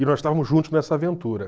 E nós estávamos juntos nessa aventura.